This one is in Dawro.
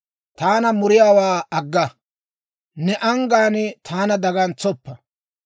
Taana muriyaawaa agga; ne anggaan taana dagantsoppa.